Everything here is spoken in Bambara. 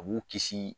A b'u kisi